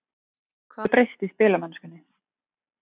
Hvað hefur breyst í spilamennskunni?